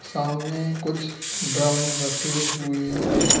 सामने कुछ ड्रम रखे हुए हैं।